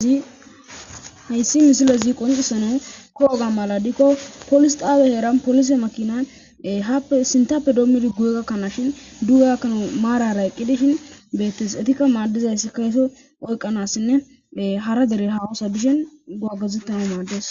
zhayssi misilezi qonxisano kooga mala dikko polis xaawe heera polise makinay haappe sintappe doommidi guye gakkanashin duuga gakkana maarara eqqidi shin beettes etikka maaddizayssi kayso oyqanassinne hara dere hawosa bishen gagazettana maaddes